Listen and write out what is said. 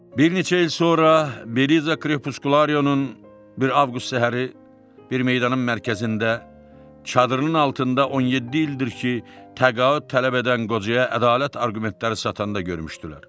Bir neçə il sonra Beliza Krepuskularionun bir Avqust səhəri bir meydanın mərkəzində çadırının altında 17 ildir ki, təqaüd tələb edən qocaya ədalət arqumentləri satanda görmüşdülər.